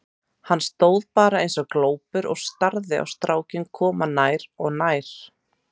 Hann stóð bara eins og glópur og starði á strákinn koma nær og nær.